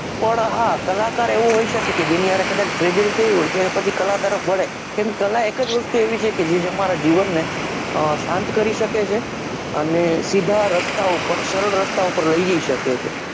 પણ હા કલાકાર એવો હોય શકે જેની સાથે કદાચ tragedy થઈ હોય તો એ પછી કલાકાર જ બને કેમ કે કલા એક વસ્તુ એવી છે જે તમારા જીવન ને સાંત કરી શકે છે અને સીધા રસ્તા પર સરળ રસ્તા લઈ જઈ શકે છે